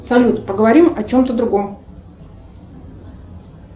салют поговорим о чем то другом